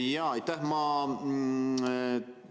Jaa, aitäh!